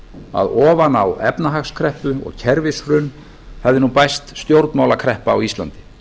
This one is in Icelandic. að ofan á efnahagskreppu og kerfishrun hefði nú bæst stjórnmálakreppa á íslandi